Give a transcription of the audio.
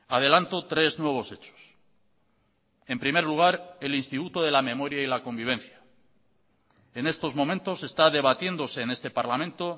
adelanto tres nuevos hechos en primer lugar el instituto de la memoria y la convivencia en estos momentos se está debatiéndose en este parlamento